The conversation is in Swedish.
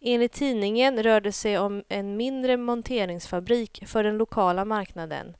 Enligt tidningen rör det sig om en mindre monteringsfabrik för den lokala marknaden,